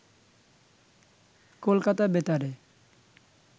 কলকাতা বেতারে